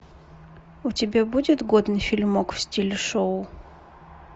у тебя будет годный фильмок в стиле шоу